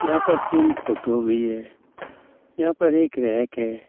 यहाँ पर तीन फोटो भी है। यहाँ पर एक रैक भी है।